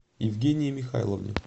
евгении михайловне